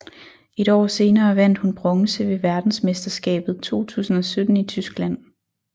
Et år senere vandt hun bronze ved verdensmesterskabet 2017 i Tyskland